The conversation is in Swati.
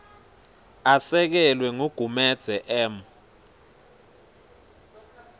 asekelwa ngugumedze m